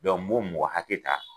n b'o mɔgɔ hakɛ ta